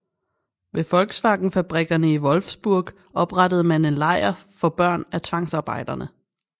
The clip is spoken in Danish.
Ved VW fabrikkerne i Wolfsburg oprettede man en lejr for børn af tvangsarbejdere